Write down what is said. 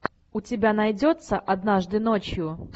у тебя найдется однажды ночью